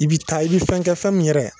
I bi taa i bi fɛn kɛ fɛn min yɛrɛ